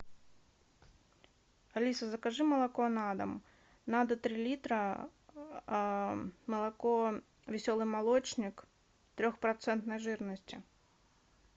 алиса закажи молоко на дом надо три литра молоко веселый молочник трехпроцентной жирности